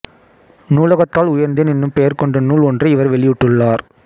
நூலகத்தால் உயர்ந்தேன் என்னும் பெயர் கொண்ட நூல் ஒன்றை இவர் வெளியிட்டுள்ளார்